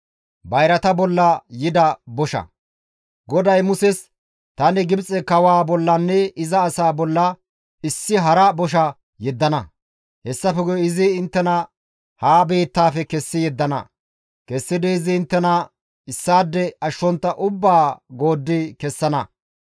GODAY Muses, «Tani Gibxe kawaa bollanne iza asaa bolla issi hara bosha yeddana; hessafe guye izi inttena ha biittaafe kessi yeddana; kessidi izi inttena issaade ashshontta ubbaa gooddi kessana.